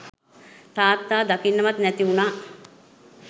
තාත්තා දකින්නවත් නැති වුණා.